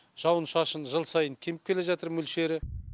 жауын шашын жыл сайын кеміп келе жатыр мөлшері